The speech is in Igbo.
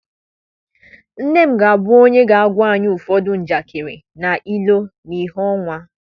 nne m ga-abụ onye ga-agwa anyị ụfọdụ njakịrị na ilu na ìhè ọnwa.